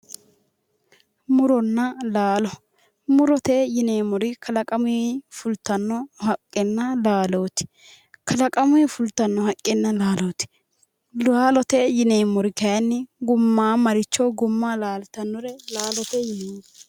Muronna laalo murote yineemmori kalaqamuyi fultanno haqqenna laalooti, laalote yineemmori kaayiinni gummaammaricho gumma laaltannore kaayiinni laalote yineemmo.